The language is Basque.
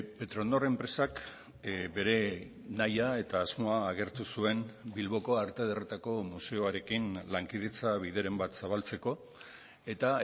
petronor enpresak bere nahia eta asmoa agertu zuen bilboko arte ederretako museoarekin lankidetza bideren bat zabaltzeko eta